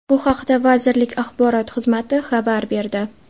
Bu haqda vazirlik Axborot xizmati xabar berdi.